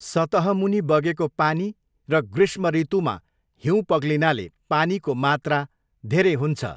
सतहमुनि बगेको पानी र ग्रीष्म ऋतुमा हिउँ पग्लिनाले पानीको मात्रा धेरै हुन्छ।